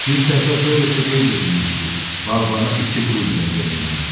Bir səhifə sonra isə qeyd edilmişdi: Bağbana iki qulden verilməlidir.